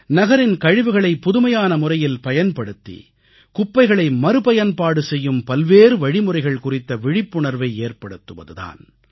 நகரின் கழிவுகளை புதுமையான முறையில் பயன்படுத்தி குப்பைகளை மறுபயன்பாடு செய்யும் பல்வேறு வழிமுறைகள் குறித்த விழிப்புணர்வை ஏற்படுத்துவது தான்